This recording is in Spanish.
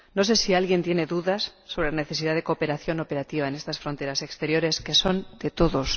No sé si alguien tiene dudas sobre la necesidad de cooperación operativa en estas fronteras exteriores, que son de todos.